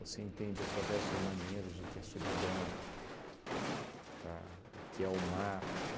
Você entende através dos marinheiros o que é solidão, tá, o que é o mar.